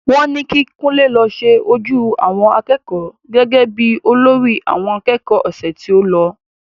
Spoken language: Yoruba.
Wọ́n ní kí Kunle lọ ṣe ojú àwọn akẹ́kọ̀ọ́ gẹ́gẹ́ bí olórí àwọn akẹ́kọ̀ọ́ ọ̀sẹ̀ tí o lọ